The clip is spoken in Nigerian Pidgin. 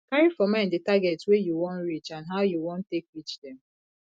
carry for mind the target wey you wan reach and how you wan take reach dem